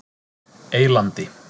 Eylandi